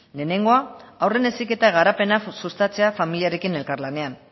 lehenengoa haurren heziketa garapena sustatzea familiarekin elkarlanean